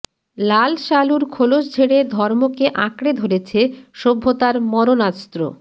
লাল সালুর খোলস ঝেড়ে ধর্মকে আঁকড়ে ধরেছে সভ্যতার মরণাস্ত্র